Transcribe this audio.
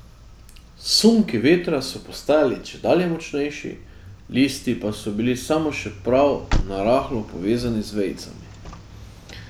Sunki vetra so postajali čedalje močnejši, listi pa so bili samo še prav narahlo povezani z vejicami.